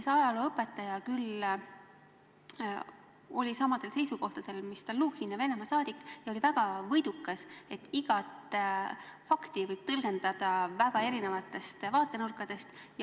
See ajalooõpetaja küll oli samadel seisukohtadel kui Stalnuhhin ja Venemaa saadik, ja ta oli väga võidukas, et igat fakti võib tõlgendada väga erinevatest vaatenurkadest.